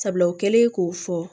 Sabula o kɛlen k'o fɔ